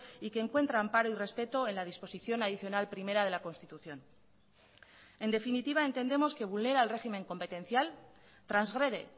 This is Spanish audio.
y que encuentra amparo y respeto en la disposición adicional primera de la constitución en definitiva entendemos que vulnera el régimen competencial transgrede